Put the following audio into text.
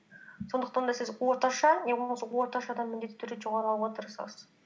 сондықтан да сіз орташа не болмаса орташадан міндетті түрде жоғары алуға тырысасыз